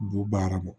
B'u baara kɛ